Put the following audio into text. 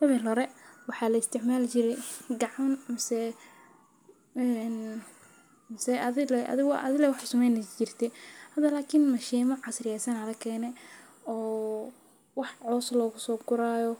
Awal hore waxaa la isticmaal jiray gacan, amasee, amasee adiga. Adigu adiga wuxuu sameynay jirta. Hadalakiin machine ka casri ah sanad ka keenay oo wax coos loogu soo qorayo